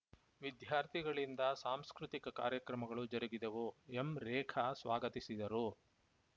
ವಿದ್ಯಾರ್ಥಿಗಳಿಂದ ಸಾಂಸ್ಕೃತಿಕ ಕಾರ್ಯಕ್ರಮಗಳು ಜರುಗಿದವು ಎಂರೇಖಾ ಸ್ವಾಗತಿಸಿದರು